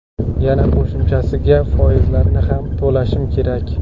Yana qo‘shimchasiga foizlarini ham to‘lashim kerak.